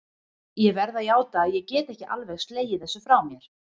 Ég verð að játa að ég get ekki alveg slegið þessu frá mér.